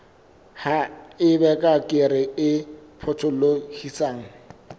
ha eba kere e potolohisang